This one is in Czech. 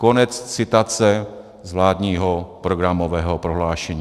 Konec citace z vládního programového prohlášení.